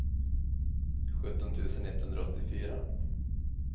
sjutton tusen etthundraåttiofyra